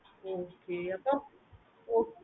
okay okay அப்புறம்